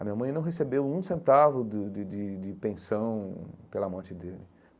A minha mãe não recebeu um centavo do de de de pensão pela morte dele.